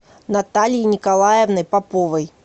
натальей николаевной поповой